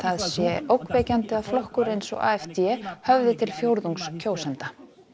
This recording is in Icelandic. sé ógnvekjandi að flokkur eins og höfði til fjórðungs kjósenda